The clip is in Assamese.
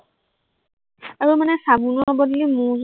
আৰু মানে চাবোনৰ বদলি মৌ জুল